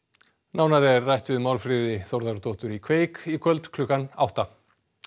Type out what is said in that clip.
nánar er rætt við Málfríði Þórðardóttur í kveik í kvöld klukkan átta